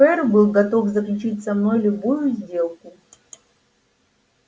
ферл был готов заключить со мной любую сделку